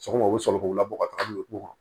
Sɔgɔma u bɛ sɔrɔ k'u labɔ ka taga n'u ye ko